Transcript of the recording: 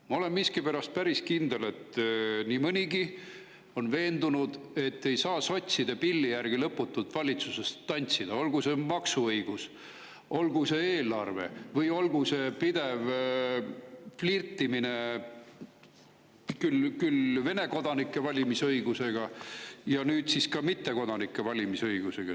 Ma olen miskipärast päris kindel, et nii mõnigi on veendunud, et ei saa sotside pilli järgi lõputult valitsuses tantsida, olgu see maksuõigus, olgu see eelarve või olgu see pidev flirtimine küll Vene kodanike valimisõigusega ja nüüd siis ka mittekodanike valimisõigusega.